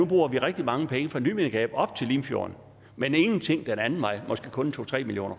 bruger rigtig mange penge fra nymindegab op til limfjorden men ingenting den anden vej måske kun to tre million